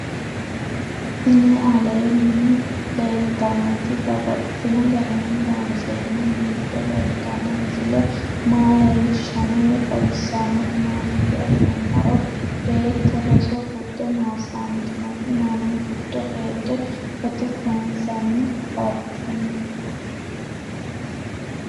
Tinni aleenni leelittannotti babaxxittinno garinni loonseenna biiffe leelittanno misile maa leelishshanno woy xawisannori maattiya yinummoro beetto roso gude maasantinotti mannu giddo heedhe footto kayiinsanni affanttanno